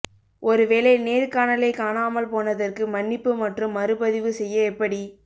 ஒரு வேலை நேர்காணலை காணாமல் போனதற்கு மன்னிப்பு மற்றும் மறுபதிவு செய்ய எப்படி